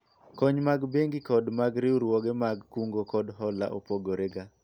kony mag bengi kod mag riwruoge mag kungo kod hola opogore ga